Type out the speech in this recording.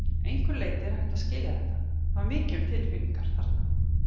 Að einhverju leyti er hægt að skilja þetta- það var mikið um tilfinningar þarna.